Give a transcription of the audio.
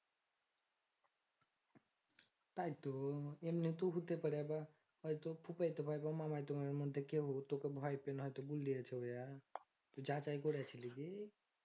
তাইতো এমনিতেই হতে পারে আবার হয়তো ফুফায়িত ভাই বা মামায়িত ভাইয়ের মধ্যে কেউ তোকে ভয় পেয়ে হয়তো বুল দিয়াছে ওইঅ্যা তু যাচাই করেছিলি কি